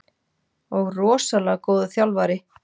Og rosalega góður þjálfari.